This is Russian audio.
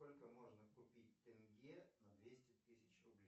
сколько можно купить тенге на двести тысяч рублей